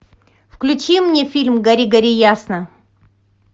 включи мне фильм гори гори ясно